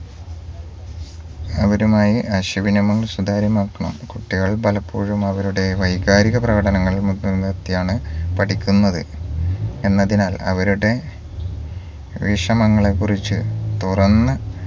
അവരുമായി ആശയവിനിമയം സുതാര്യമാക്കണം കുട്ടികൾ പലപ്പോഴുംഅവരുടെ വൈകാരിക പ്രകടനങ്ങൾ മു മുൻനിർത്തിയാണ് പഠിക്കുന്നത് എന്നതിനാൽ അവരുടെ വിഷമങ്ങളെ കുറിച് തുറന്ന്